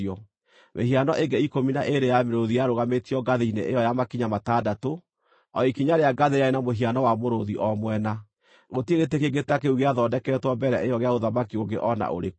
Mĩhiano ĩngĩ ikũmi na ĩĩrĩ ya mĩrũũthi yarũgamĩtio ngathĩ-inĩ ĩyo ya makinya matandatũ. O ikinya rĩa ngathĩ rĩarĩ na mũhiano wa mũrũũthi o mwena. Gũtirĩ gĩtĩ kĩngĩ ta kĩu gĩathondeketwo mbere ĩyo gĩa ũthamaki ũngĩ o na ũrĩkũ.